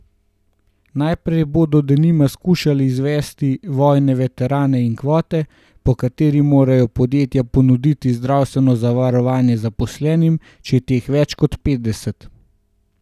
Najprej bodo denimo skušali izvzeti vojne veterane iz kvote, po kateri morajo podjetja ponuditi zdravstveno zavarovanje zaposlenim, če je teh več kot petdeset.